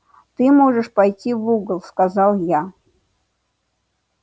ты можешь пойти в угол сказал я